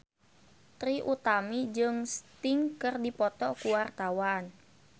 Trie Utami jeung Sting keur dipoto ku wartawan